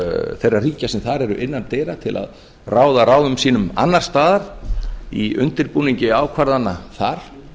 þeirra ríkja sem þar eru innan dyra til að ráða ráðum sínum annars staðar í undirbúningi ákvarðana þar